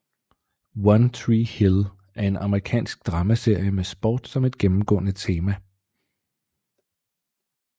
One Tree Hill er en amerikansk dramaserie med sport som et gennemgående tema